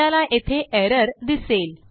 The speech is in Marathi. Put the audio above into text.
आपल्याला येथे एरर दिसेल